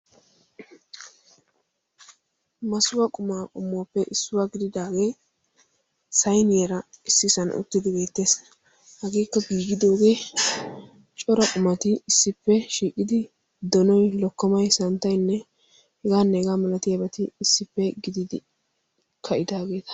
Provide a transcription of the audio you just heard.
Masuwa qumaa qommuwappe issuwa gididaagee sayniyara issisan uttidi beettees. Hageekka giigidoogee, cora qumati issippe shiiqidi: donoy, lokkomay, santtaynne h.h.m issippe gididi ka'idaageeta.